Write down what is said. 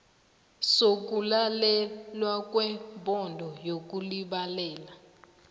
sokulalelwa kwebhodo yokulibalela